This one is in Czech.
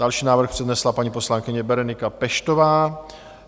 Další návrh přednesla paní poslankyně Berenika Peštová.